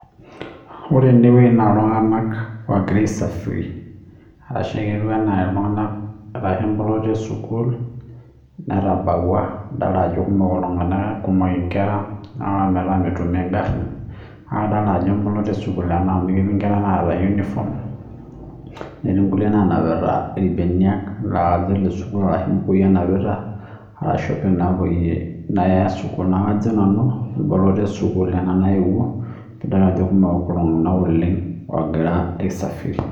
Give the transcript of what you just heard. Ore enewueji naa iltunganak ogira aisafiri ashu inkera esukul netabawua idol ajo kumok iltunganak ,kumok inkera amapaka niaku metum engari , niaku kadolta ajo emboloto esukul ena amu ketii inkera naata uniform, netii nkulie nanapita irbenia laa kajo ilesukul ashu imbukui enapita ashu naya sukul niaku kajo nanu , emboloto esukul ena naewuo pidol ajo kumok inkera esukul ogira aisafiri.